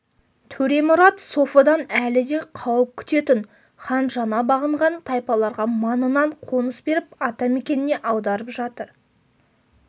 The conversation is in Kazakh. төремұрат софыдан әлі де қауіп күтетін хан жаңа бағынған тайпаларға маңынан қоныс беріп ата мекеніне аударып жатыр